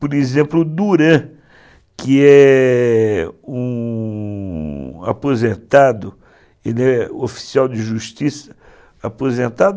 Por exemplo, o Duran, que é um aposentado, ele é oficial de justiça aposentado,